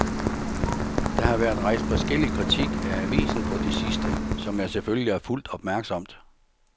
Der har været rejst forskellig kritik af avisen på det sidste, som jeg selvfølgelig har fulgt opmærksomt.